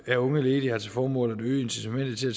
af unge ledige har til formål at øge incitamentet til at